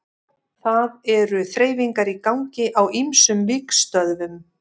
Það eru þreifingar í gangi á ýmsum vígstöðvum.